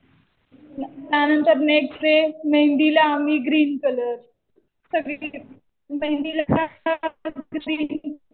त्यानंतर next day मेहेंदीला आम्ही ग्रीन कलर. सगळे